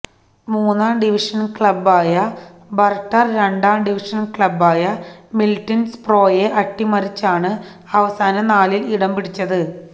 മൂന്നാം ഡിവഷൻ ക്ലബായ ബർട്ടൻ രണ്ടാം ഡിവിഷൻ ക്ലബായ മിഡിൽസ്ബ്രോയെ അട്ടിമറിച്ചാണ് അവസാന നാലിൽ ഇടം പിടിച്ചത്